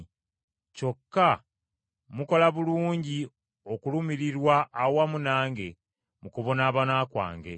Kyokka mukola bulungi okulumirirwa awamu nange mu kubonaabona kwange.